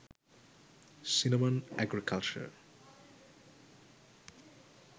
cinnamon agricalture